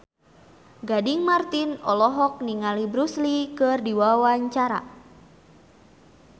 Gading Marten olohok ningali Bruce Lee keur diwawancara